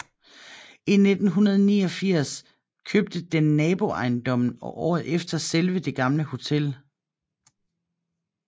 I 1889 købte den naboejendommen og året efter selve det gamle hotel